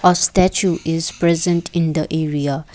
a statue is present in the area.